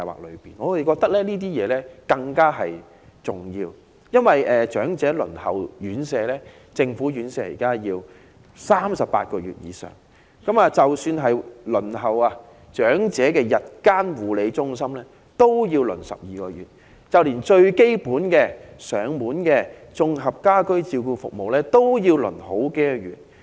我們認為這些設施更為重要，因為現時長者輪候政府院舍要等候38個月以上，即使是輪候長者日間護理中心名額，也要等候12個月，就連最基本的上門綜合家居照顧服務也要輪候數月。